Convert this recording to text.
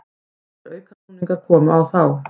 Allir aukasnúningar komu á þá.